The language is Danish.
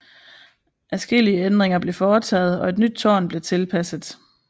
Adskillige ændringer blev foretaget og et nyt tårn blev tilpasset